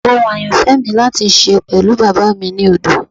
Ohun ayanfẹ mi lati ṣe pẹlu baba mi ni odo